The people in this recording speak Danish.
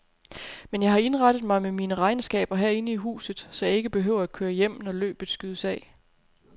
Men jeg har indrettet mig med mine regnskaber herinde i huset, så jeg ikke behøver at køre hjem, når løbet skydes af.